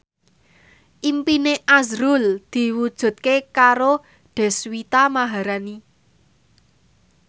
impine azrul diwujudke karo Deswita Maharani